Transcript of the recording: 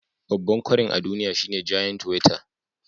Babban kwarin a duniya shine giant weta